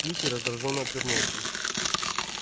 кьюти раздражённо отвернулся